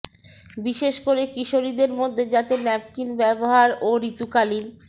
বিশেষ করে কিশোরীদের মধ্যে যাতে ন্যাপকিন ব্যবহার ও ঋতুকালীন